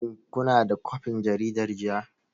Shin kuna da kwafin jaridar jiya?